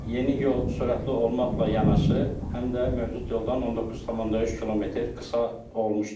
Yeni yol sürətli olmaqla yanaşı, həm də mövcud yoldan 19,3 km qısa olmuşdur.